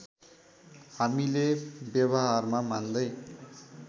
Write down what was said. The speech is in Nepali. हामीले व्यवहारमा मान्दै